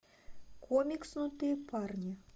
комикснутые парни